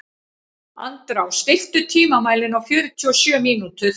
Andrá, stilltu tímamælinn á fjörutíu og sjö mínútur.